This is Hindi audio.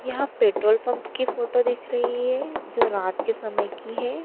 यहां पेट्रोल पंप की फोटो दिख रही है जो रात के समय की है।